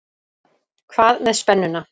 Hvað með spennuna?